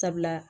Sabula